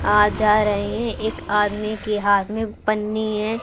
आ जा रहे हैं। एक आदमी के हाथ में पन्नी है।